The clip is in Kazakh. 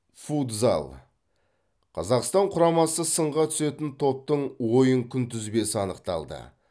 футзал қазақстан құрамасы сынға түсетін топтың ойын күнтізбесі анықталды